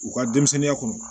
U ka denmisɛnninya kɔnɔ